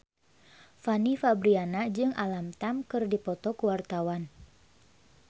Fanny Fabriana jeung Alam Tam keur dipoto ku wartawan